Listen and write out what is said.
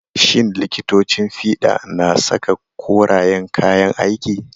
Shin likitocin fiɗa na saka korayen kayan aiki?